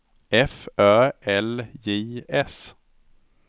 F Ö L J S